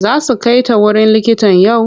Za su kai ta wurin likitan yau?